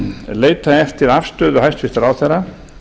leita eftir afstöðu hæstvirts ráðherra